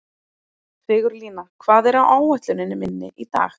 Sigurlína, hvað er á áætluninni minni í dag?